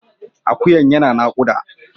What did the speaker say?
Akuyan yana nakuda.